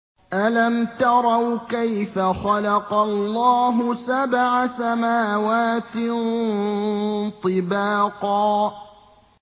أَلَمْ تَرَوْا كَيْفَ خَلَقَ اللَّهُ سَبْعَ سَمَاوَاتٍ طِبَاقًا